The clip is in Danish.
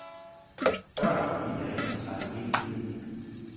Børn og familier ændrer sig jo hele tiden.